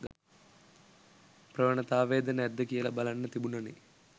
ප්‍රවණතාවයද නැද්ද කියල බලන්න තිබුණනෙ.